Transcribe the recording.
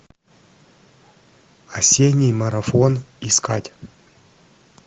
осенний марафон искать